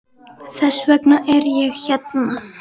Þess vegna er ég hérna.